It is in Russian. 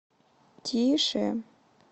тише